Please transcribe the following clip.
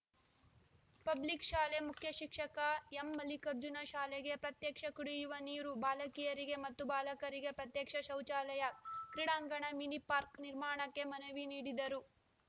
public ಶಾಲೆ ಮುಖ್ಯ ಶಿಕ್ಷಕ ಎಂಮಲ್ಲಿಕಾರ್ಜುನ ಶಾಲೆಗೆ ಪ್ರತ್ಯೇಕ ಕುಡಿಯುವ ನೀರು ಬಾಲಕಿಯರಿಗೆ ಮತ್ತು ಬಾಲಕರಿಗೆ ಪ್ರತ್ಯೇಕ ಶೌಚಾಲಯ ಕ್ರೀಡಾಂಗಣ ಮಿನಿ ಪಾರ್ಕ್ ನಿರ್ಮಾಣಕ್ಕೆ ಮನವಿ ನೀಡಿದರು